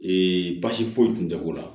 Ee basi foyi tun tɛ k'u la